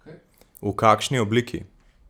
V kakšni obliki?